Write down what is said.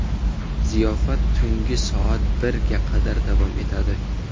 Ziyofat tunggi soat birga qadar davom etadi.